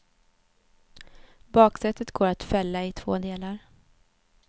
Baksätet går att fälla i två delar.